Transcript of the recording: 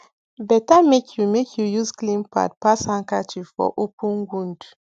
better make you make you use clean pad pass handkerchief for open wound